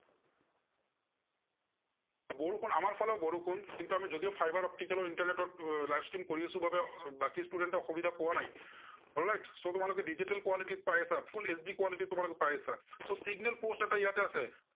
বৰষুণ আমাৰ ফালেও বৰষুণ, কিন্তু আমি যদিও fiber optical internet আহ live stream কৰি আছো বাবে বাকী student এ অসুবিধা পোৱা নাই। alright, so তোমালোকে digital quality পাই আছা, full HD quality তোমালোকে পাই আছা, so signal post এটা ইয়াতে আছে।